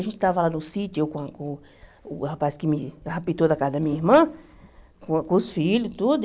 A gente estava lá no sítio, eu com com o rapaz que me raptou da casa da minha irmã, com com os filhos e tudo.